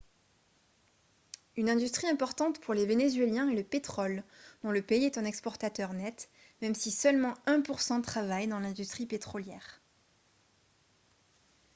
une industrie importante pour les vénézuéliens est le pétrole dont le pays est un exportateur net même si seulement un pour cent travaille dans l'industrie pétrolière